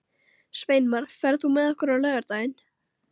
Sveinmar, ferð þú með okkur á laugardaginn?